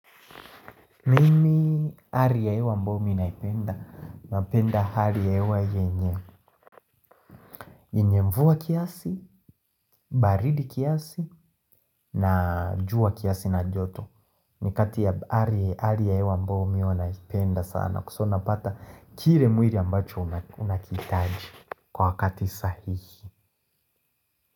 Mimi hali ya hewa ambayo mimi naipenda, napenda hali ya hewa yenye yenye mvua kiasi, baridi kiasi, na jua kiasi na joto. Ni kati ya hali ya hewa ambayo mimi huwa naipenda sana kwa sababu napata kile mwili ambacho unakihitaji kwa wakati sahihi.